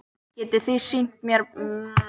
Getið þið sýnt mér myndir af bavíönum?